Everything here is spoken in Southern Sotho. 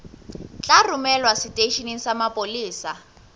tla romelwa seteisheneng sa mapolesa